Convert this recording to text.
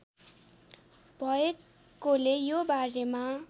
भएकोले यो बारेमा